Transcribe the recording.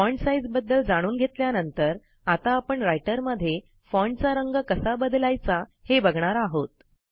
font size बद्दल जाणून घेतल्यानंतर आता आपण रायटरमध्ये फाँटचा रंग कसा बदलायचा हे बघणार आहोत